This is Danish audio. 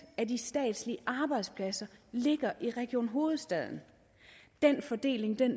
af de statslige arbejdspladser ligger i region hovedstaden den fordeling